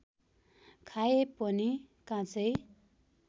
खाए पनि काँचै